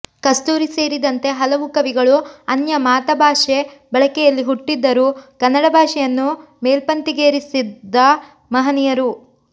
ಕಸ್ತೂರಿ ಸೇರಿದಂತೆ ಹಲವು ಕವಿಗಳು ಅನ್ಯ ಮಾತಭಾಷೆ ಬಳಕೆಯಲ್ಲಿ ಹುಟ್ಟಿದರೂ ಕನ್ನಡ ಭಾಷೆಯನ್ನು ಮೇಲ್ಪಂತಿಗೇರಿಸಿದ ಮಹನೀಯರು